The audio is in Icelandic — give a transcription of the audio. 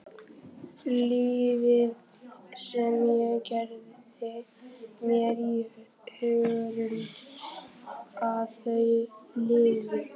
Lífið sem ég gerði mér í hugarlund að þau lifðu.